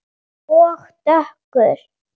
Og dökkur.